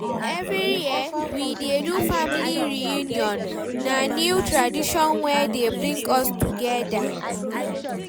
Every year, we dey do family reunion, na new tradition wey dey bring us togeda